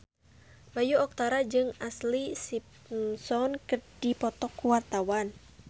Bayu Octara jeung Ashlee Simpson keur dipoto ku wartawan